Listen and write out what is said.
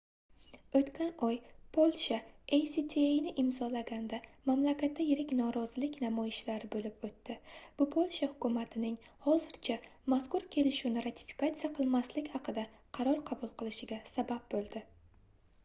oʻtgan oy polsha actani imzolaganda mamlakatda yirik norozilik namoyishlari boʻlib oʻtdi bu polsha hukumatining hozircha mazkur kelishuvni ratifikatsiya qilmaslik haqida qaror qabul qilishiga sabab boʻldi